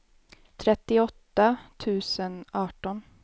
trettioåtta tusen arton